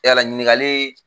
Yala ɲiningali